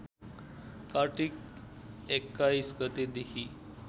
कार्तिक २१ गतेदेखि